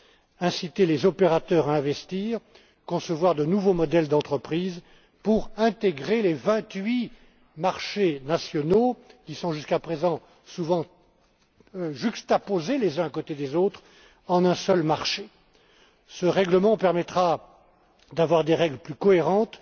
Il s'agit d'inciter les opérateurs à investir, de concevoir de nouveaux modèles d'entreprises pour intégrer les vingt huit marchés nationaux, qui sont jusqu'à présent souvent juxtaposés les uns à côté des autres, en un seul marché. Ce règlement permettra d'avoir des règles plus cohérentes